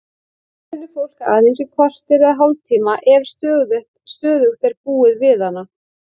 Lykt finnur fólk aðeins í korter eða hálftíma ef stöðugt er búið við hana.